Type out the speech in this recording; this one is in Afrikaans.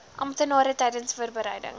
amptenare tydens voorbereiding